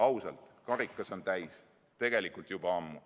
Ausalt, karikas on täis, tegelikult juba ammu.